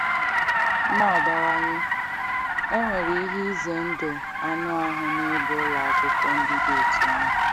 Na-abawanye, enwere ihe ize ndụ anụ ahụ na ịga ụlọ akwụkwọ ndị dị otú ahụ.